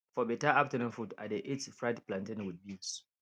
for better afternoon food i dey eat fried plantain with beans